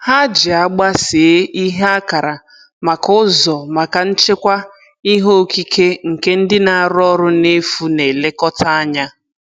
Ha ji agba see ihe akara maka ụzọ maka nchekwa ihe okike nke ndị na-arụ ọrụ n'efu na-elekọta anya.